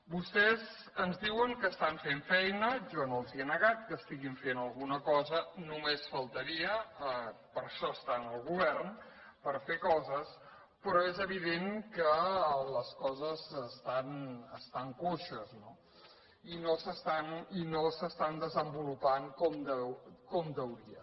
vostès ens diuen que estan fent feina jo no els ho he negat que estiguin fent alguna cosa només faltaria per això estan al govern per fer coses però és evident que les coses estan coixes no i no s’estan desenvolupant com caldria